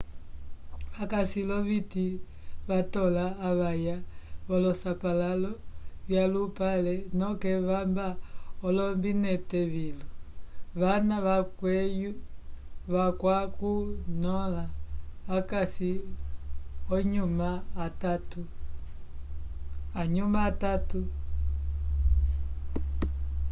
vakaci loviti vatola avaya volosapalalo yalupale noke vamba olombinete vilu vana vakwacunyola vacasi ahuma atatu